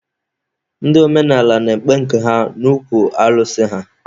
Ndị omenaala na-ekpe nke ha n'okwu alụsị ha.